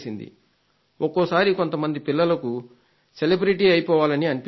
ఒక్కొక్కసారి కొంత మంది పిల్లలకు విశిష్ట వ్యక్తి అయిపోవాలని అనిపిస్తుంది